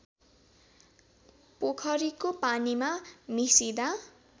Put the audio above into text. पोखरीको पानीमा मिसिदा